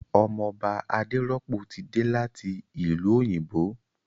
Ọmọ Ọba Adérọ́pò ti dé láti ìlú òyìnbó